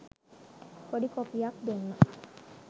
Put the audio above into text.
පොඩි කොපියක් දුන්න